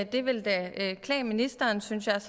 det ville da klæde ministeren synes jeg